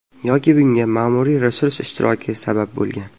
Yoki bunga ma’muriy resurs ishtiroki sabab bo‘lgan.